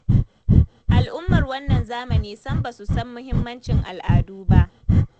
Al'ummar wannan zamani sam ba su san muhimmancin al'adu ba.